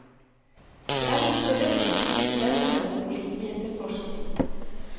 Det er ikke så lett å skrive spennende om politietterforskning.